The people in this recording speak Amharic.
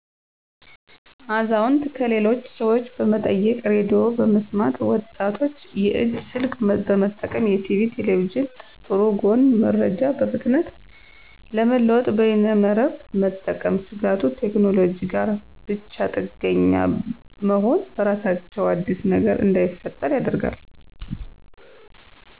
አዛውንት -ከሌሎች ሠወች በመጠየቅ ሬዲዮ በመስማት ወጣቶች -የእጅ ስልክ በመጠቀም የቲቪ ,ቴሌቪዥን ጥሩ ጎን- መረጃ በፍጥነት ለመለወጥ በይነመረብ መጠቀም ስጋቱ-ቴክኖሎጂ ጋር ብቻጥገኛ መሆን በራሳቸው አዲስ ነገር እንዳይፈጠር ያደርጋል